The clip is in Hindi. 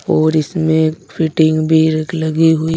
और इसमें फिटिंग भी रख लगी हुई।